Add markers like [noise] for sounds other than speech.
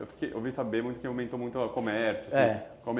Eu ouvi saber [unintelligible] que aumentou muito o comércio, assim, é